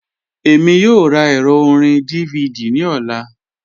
Èmi yòò rá èrọ̀ orin DVD ní ọlá